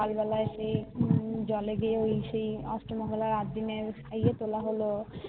সকল বেলা আমি নুন টুন্ জলে দিয়ে ওই সেই অস্ত মঙ্গলবার আট দিনে খাইয়ে তোলা হলো